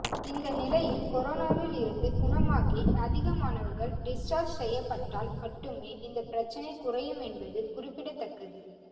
இந்த நிலையில் கொரோனாவில் இருந்து குணமாகி அதிகமானவர்கள் டிஸ்சார்ஜ் செய்யப்பட்டால் மட்டுமே இந்த பிரச்சனை குறையும் என்பது குறிப்பிடத்தக்கது